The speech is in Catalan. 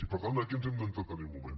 i per tant aquí ens hem d’entretenir un moment